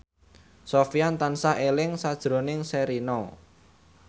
Sofyan tansah eling sakjroning Sherina